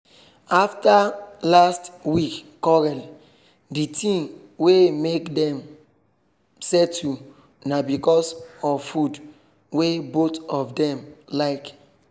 after last week quarrel the thing wey make dem settle na because of food wey both of dem like